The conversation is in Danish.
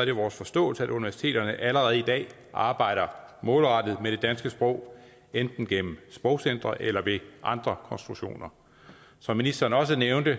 er det vores forståelse at universiteterne allerede i dag arbejder målrettet med det danske sprog enten gennem sprogcentre eller via andre konstruktioner som ministeren også nævnte